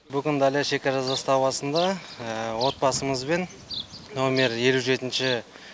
бүгін далья шекара заставасында отбасымызбен номер елу жетінші